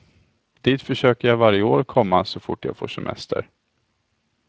Dit försöker jag varje år komma så fort jag får semester.